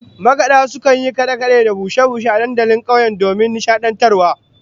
Makada sukan yi kade-kade da bushe-bushe a dandalin kauye domin nishadantarwa